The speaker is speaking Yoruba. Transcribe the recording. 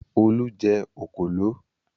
Olú jẹ òkòló?